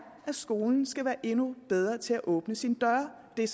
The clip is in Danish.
at skolen skal være endnu bedre til at åbne sine døre det er